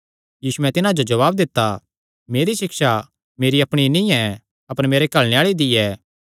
यीशुयैं तिन्हां जो जवाब दित्ता मेरी सिक्षा मेरी अपणी नीं ऐ अपर मेरे घल्लणे आल़े दी ऐ